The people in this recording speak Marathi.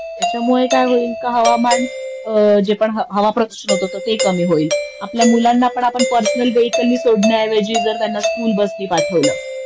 त्याच्यामुळे काय होईल का हवामान जे पण हवाप्रदूषण होत ते कमी होईल आपल्या मुलांना पण आपण पर्सनल वेहिकल नि सोडण्यापेक्षा जर त्यांना स्कूल बस ने पाठवलं